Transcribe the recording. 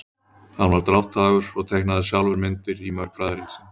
hann var drátthagur og teiknaði sjálfur myndir í mörg fræðirit sín